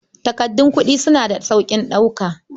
Takardun kuɗi suna da sauƙin ɗauka.